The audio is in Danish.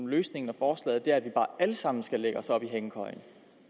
løsningsforslaget er at vi bare alle sammen skal lægge os op i hængekøjen